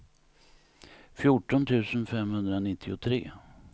fjorton tusen femhundranittiotre